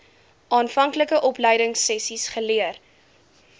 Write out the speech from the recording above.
aanvanklike opleidingsessies geleer